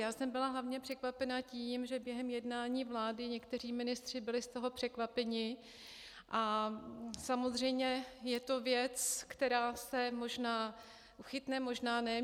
Já jsem byla hlavně překvapena tím, že během jednání vlády někteří ministři byli z toho překvapeni, a samozřejmě je to věc, která se možná chytne, možná ne.